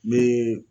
Ni